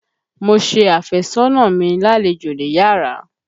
Mo ṣe àfẹ́sọ́nà mi lálejò níyárà.